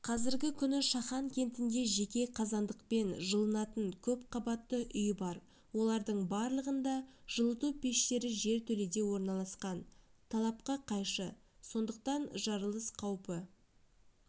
қазіргі күні шахан кентінде жеке қазандықпен жылынатын көпқабатты үй бар олардың барлығында жылыту пештері жертөледе орналасқан талапқа қайшы сондықтан жарылыс қаупі